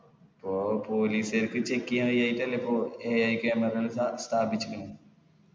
ഓ police കാർക്ക് check ചെയ്യാൻ കയ്യായിറ്റല്ലേ ഇപ്പൊ AIcamera എല്ലം സ്ഥ സ്ഥാപിച്ചിന്